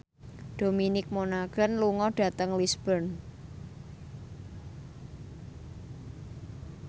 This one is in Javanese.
Dominic Monaghan lunga dhateng Lisburn